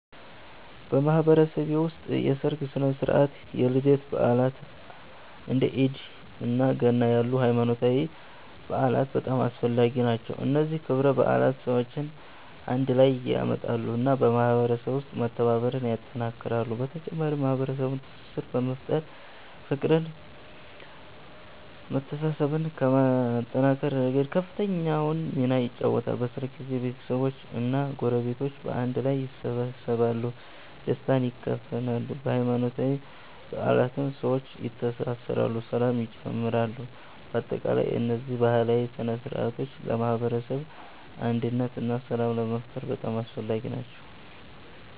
በማህበረሰቤ ውስጥ የሠርግ ሥነ ሥርዓት፣ የልደት በዓላት፣ እንደ ኢድ እና ገና ያሉ ሃይማኖታዊ በዓላት በጣም አስፈላጊ ናቸው። እነዚህ ክብረ በዓላት ሰዎችን አንድ ላይ ያመጣሉ እና በማህበረሰቡ ውስጥ መተባበርን ያጠናክራሉ። በተጨማሪም የማህበረሰቡን ትስስር በመፍጠር፤ ፍቅርን መተሳሰብን ከማጠናከር ረገድ ከፍተኛውን ሚና ይጫወታሉ። በሠርግ ጊዜ ቤተሰቦች እና ጎረቤቶች በአንድ ላይ ይሰበሰባሉ፣ ደስታን ይካፈላሉ። በሃይማኖታዊ በዓላትም ሰዎች ይተሳሰራሉ ሰላም ይጨምራሉ። በአጠቃላይ እነዚህ ባህላዊ ሥነ ሥርዓቶች ለማህበረሰብ አንድነት እና ሰላም ለመፍጠር በጣም አስፈላጊ ናቸው።